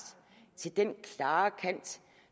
til den klare kant